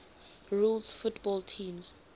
rules football teams